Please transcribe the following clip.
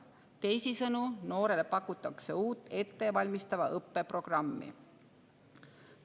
Teisisõnu pakutakse noorele uut ettevalmistava õppe programmi.